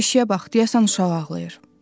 Beşiyə bax, deyəsən uşaq ağlayır.